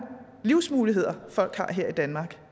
livsmuligheder folk har her i danmark